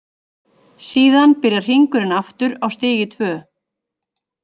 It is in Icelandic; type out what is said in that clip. Síðan byrjar hringurinn aftur á stigi tvö.